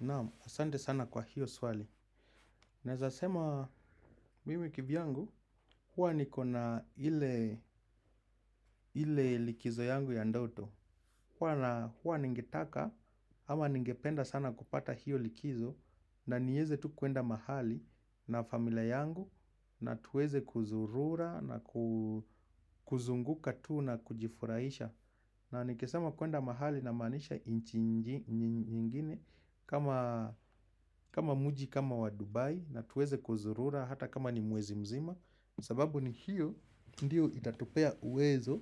Naam, asante sana kwa hiyo swali. Naweza sema, mimi kivi yangu, huwa nikona ile likizo yangu ya ndoto. Huwa na huwa ningetaka, ama ningependa sana kupata hiyo likizo, na niweze tu kwenda mahali na familia yangu, na tuweze kuzurura na kuzunguka tuu na kujifurahisha. Na nikesema kwenda mahali namaanisha nchi ingine, kama mji kama wa Dubai na tuweze kuzurura hata kama ni mwezi mzima. Sababu ni hiyo ndiyo itatupea uwezo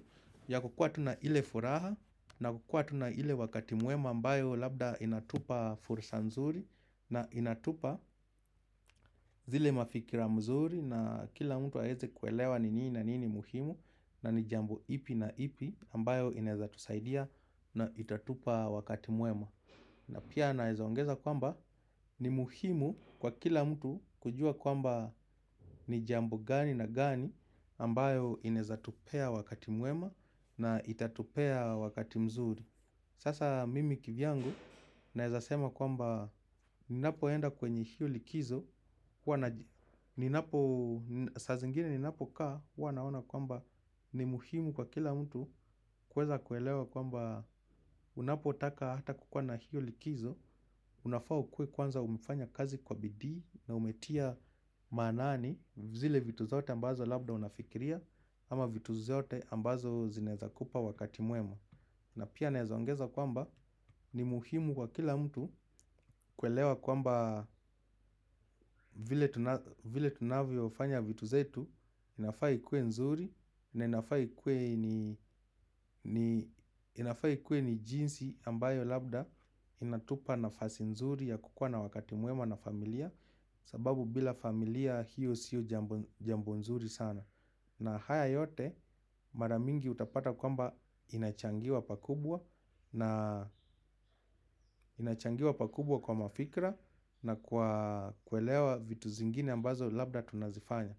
ya kukuwa tu na ile furaha. Na kukuwa tu na ile wakati mwema ambayo labda inatupa fursa nzuri. Na inatupa zile mafikira mzuri na kila mtu aweze kuelewa ni nini na nini muhimu. Na ni jambo ipi na ipi ambayo inawezatusaidia na itatupa wakati muema. Na pia nawezaongeza kwamba ni muhimu kwa kila mtu kujua kwamba ni jambo gani na gani ambayo inaweza tupea wakati mwema na ita tupea wakati mzuri. Sasa mimi kivi yangu nawezasema kwamba ninapo enda kwenye hiyo likizo. Saa zingine ninapo kaa huwa naona kwamba ni muhimu kwa kila mtu. Kuweza kuelewa kwamba unapotaka hata kukuwa na hiyo likizo. Unafaa kuwa kwanza umefanya kazi kwa bidii na umetia maanani. Zile vitu zote ambazo labda unafikiria ama vitu zote ambazo zinaweza kupa wakati mwema. Na pia nawezaongeza kwamba ni muhimu kwa kila mtu kuelewa kwamba vile tunavyo fanya vitu zetu inafaa ikuwe nzuri na inafaa ikuwe ni jinsi ambayo labda inatupa nafasi nzuri ya kukuwa na wakati mwema na familia sababu bila familia hiyo siyo jambo nzuri sana. Na haya yote mara mingi utapata kwamba inachangiwa pakubwa. Na inachangiwa pakubwa kwa mafikra na kuelewa vitu zingine ambazo labda tunazifanya.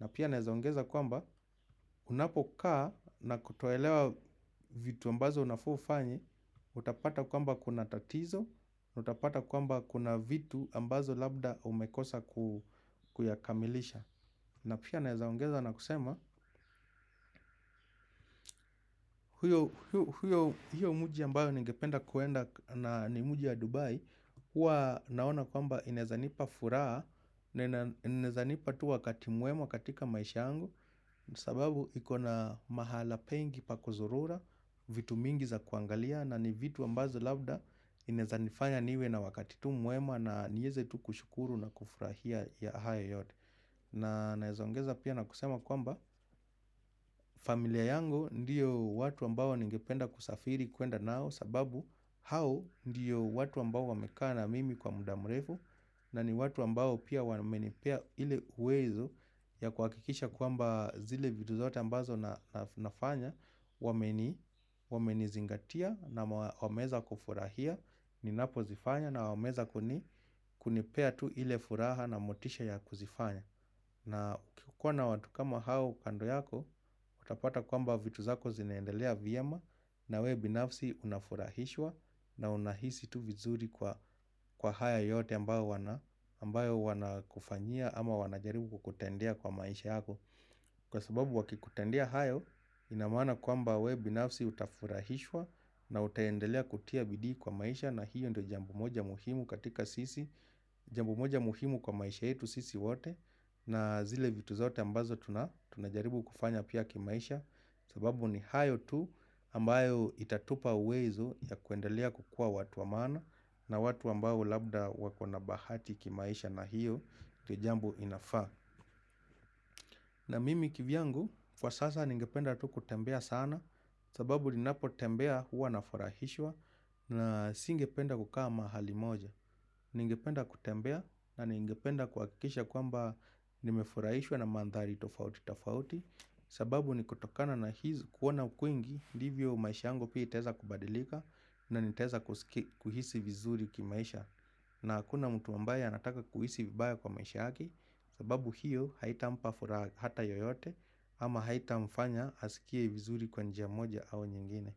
Na pia nawezaongeza kwamba unapokaa na kutuelewa vitu ambazo unafaa ufanye. Utapata kwamba kuna tatizo, utapata kwamba kuna vitu ambazo labda umekosa kuyakamilisha. Na pia nawezaongeza na kusema, hiyo mji ambayo ningependa kwenda na ni mji ya Dubai, huwa naona kwamba inaweza nipa furaha, inawezanipa tu wakati mwema katika maisha yangu, sababu ikona mahala pengi pa kuzurura vitu mingi za kuangalia na ni vitu ambazo labda, inawezanifanya niwe na wakati tu mwema na niweze tu kushukuru na kufurahia ya haya yote. Na nawezaongeza pia na kusema kwamba familia yangu ndiyo watu ambao ningependa kusafiri kwenda nao sababu hao ndiyo watu ambao wamekaa na mimi kwa muda mrefu na ni watu ambao pia wamenipea ile uwezo ya kuhakisha kwamba zile vitu zote ambazo nafanya wamenizingatia na wameza kufurahia ninapo zifanya na wameza kuni kunipea tu ile furaha na motisha ya kuzifanya. Na kukiikuwa na watu kama hao kando yako, utapata kwamba vitu zako zinaendelea vyema na wewe binafsi unafurahishwa na unahisi tu vizuri kwa haya yote ambayo wana kufanyia ama wanajaribu kukutendea kwa maisha yako. Kwa sababu wakikutendea hayo inamaana kwamba wewe binafsi utafurahishwa na utaendelea kutia bidii kwa maisha na hiyo ndo jambo moja muhimu katika sisi. Jambo moja muhimu kwa maisha yetu sisi wote na zile vitu zote ambazo tunajaribu kufanya pia kimaisha. Sababu ni hayo tu ambayo itatupa uwezo ya kuendelea kukuwa watu wa maana na watu ambao labda wakona bahati kimaisha na hiyo ndio jambo inafaa. Na mimi kivi yangu, kwa sasa ningependa tu kutembea sana. Sababu ninapotembea huwa na furahishwa. Na singependa kukaa ma hali moja. Ningependa kutembea na ningependa kuhakikisha kwamba nimefurahishwa na mandhari tofauti tofauti. Sababu nikutokana na kuona kwingi ndivyo maisha yangu pia itaweza kubadilika. Na nitaweza kuhisi vizuri kimaisha. Na hakuna mtu ambaye anataka kuhisi vibaya kwa maisha yake sababu hiyo haita mpa furaha hata yoyote. Ama haita mfanya asikie vizuri kwa njia moja au nyingine.